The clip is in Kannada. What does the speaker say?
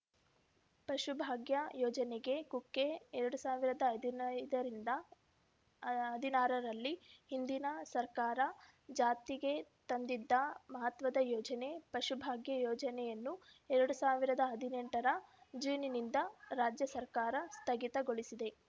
ಪಶುಭಾಗ್ಯ ಯೋಜನೆಗೆ ಕೊಕ್ಕೆ ಎರಡ್ ಸಾವಿರದ ಹದಿನೈದರಿಂದ ಹದಿನಾರರಲ್ಲಿ ಹಿಂದಿನ ಸರ್ಕಾರ ಜಾತಿಗೆ ತಂದಿದ್ದ ಮಹತ್ವದ ಯೋಜನೆ ಪಶುಭಾಗ್ಯ ಯೋಜನೆಯನ್ನು ಎರಡ್ ಸಾವಿರದ ಹದಿನೆಂ ರ ಜೂನ್‌ನಿಂದ ರಾಜ್ಯ ಸರ್ಕಾರ ಸ್ಥಗಿತಗೊಳಿಸಿದೆ